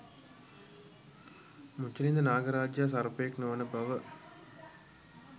මුචලින්ද නාග රාජයා සර්පයෙක් නොවන බව